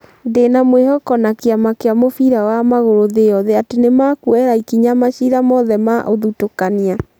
Ndĩna mwĩhoko na kĩama kia mũbira wa magũrũ thĩ yothe atĩ nĩmakuoera ikinya macira mothe ma ũthutũkania